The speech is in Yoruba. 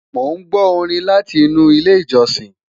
Mon gbó Orin láti inú ilé ìjósìn